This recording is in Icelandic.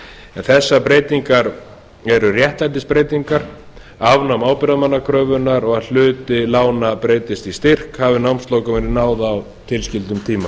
en þessar breytingar eru réttlætisbreytingar afnám ábyrgðarmannakröfunnar og að hluti lána breytist í styrk hafi námslokum verið náð á tilskildum tíma